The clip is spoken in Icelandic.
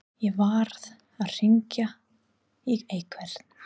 Ég varð að hringja í einhvern.